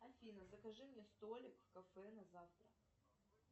афина закажи мне столик в кафе на завтра